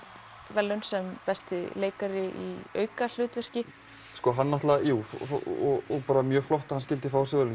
verðlaun sem besti leikari í aukahlutverki og mjög flott að hann skyldi fá þessi verðlaun